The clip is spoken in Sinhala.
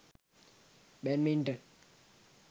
badminton